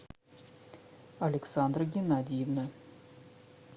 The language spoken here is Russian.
александра геннадьевна